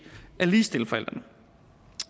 at ligestille forældrene